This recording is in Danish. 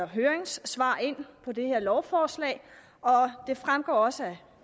høringssvar på det her lovforslag og det fremgår også